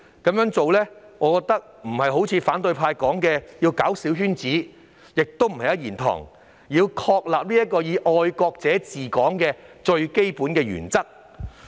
我認為這並非反對派所說的搞小圈子，亦不是"一言堂"，而是確立"愛國者治港"的最基本原則。